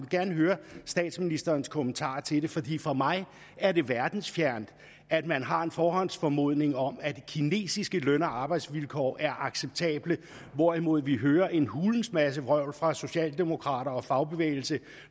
gerne høre statsministerens kommentar til det fordi for mig er det verdensfjernt at man har en forhåndsformodning om at kinesiske løn og arbejdsvilkår er acceptable hvorimod vi hører en hulens masse vrøvl fra socialdemokrater og fagbevægelse